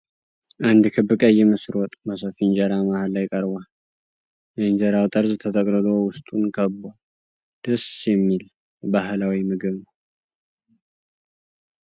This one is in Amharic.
አንድ ክብ ቀይ ምስር ወጥ በሰፊ የእንጀራ መሃል ላይ ቀርቧል። የእንጀራው ጠርዝ ተጠቅልሎ ውስጡን ከብቧል። ደስ የሚል ባህላዊ ምግብ ነው።